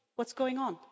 What's going on?